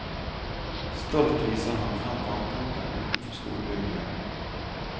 Stolt viser han frem vannpumpen utenfor skolebygningen.